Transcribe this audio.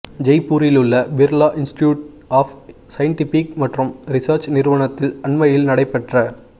ஜெய்பூரிலுள்ள Birla institute of scientific மற்றும் research நிறுவனத்தில் அண்மையில் நடைபெற்ற